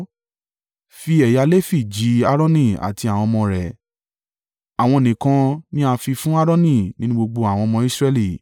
Fi ẹ̀yà Lefi jì Aaroni àti àwọn ọmọ rẹ̀, àwọn nìkan ni a fi fún Aaroni nínú gbogbo àwọn ọmọ Israẹli.